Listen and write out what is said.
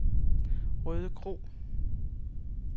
Rødekro